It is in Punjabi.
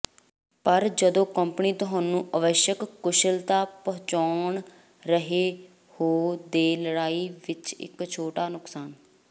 ਪਰ ਜਦ ਕੰਪਨੀ ਤੁਹਾਨੂੰ ਅਵੱਸ਼ਕ ਕੁਸ਼ਲਤਾ ਪਹੁੰਚਾਉਣ ਰਹੇ ਹੋ ਦੇ ਲੜਾਈ ਵਿਚ ਇਕ ਛੋਟਾ ਨੁਕਸਾਨ